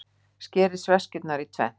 Skerið sveskjurnar í tvennt.